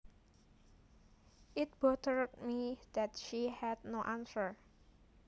It bothered me that she had no answers